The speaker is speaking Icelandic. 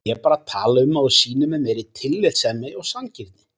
Ég er bara að tala um að þú sýnir mér meiri tillitssemi og sanngirni.